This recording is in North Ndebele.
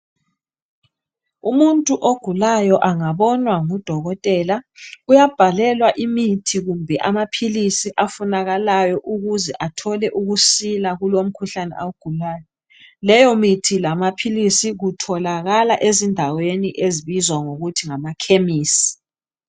Umuntu ogulayo angabonwa ngudokotela uyabhalelwa imithi kumbe amaphilisi afunakalayo ukuze athole ukusila kulomkhuhlane awugulayo. Leyomithi lamaphilisi kutholakala ezindaweni ezibizwa ngokuthi ngamakhemisi.